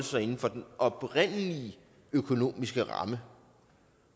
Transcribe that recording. sig inden for den oprindelige økonomiske ramme